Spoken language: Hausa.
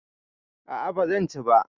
A'a bazan ci ba